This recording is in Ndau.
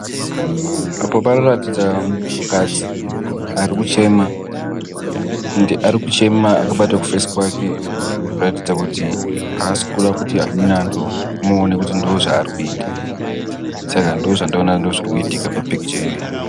Apa panoratidza muntukadzi ari kuchema endi arikuchema akabata kufesi kwake kuratidza kuti haasikuda kuti amweni antu amuone kuti ndoozvaari kuita. Saka ndoozvandaona kuti ndoozvirikuitika papikicha iyoyi.